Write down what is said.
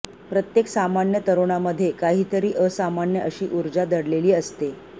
प्रत्येक सामान्य तरुणामध्ये काहीतरी असामान्य अशी ऊर्जा दडलेली असते